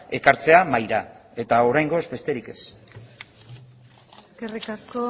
ekartzea mahaira eta oraingoz besterik ez eskerrik asko